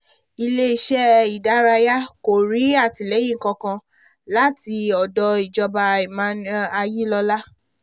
ilé iṣẹ́ ìdárayá kò rí àtìlẹyìn kankan láti ọ̀dọ̀ ìjọba emmanuelayilọla